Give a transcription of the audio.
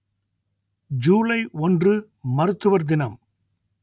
ஜூலை ஒன்று மருத்துவர் தினம்